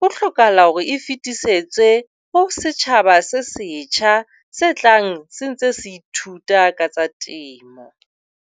ho hlokahala hore e fetisetse ho setjhaba se setjha se tlang se ntse se ithuta ka tsa temo.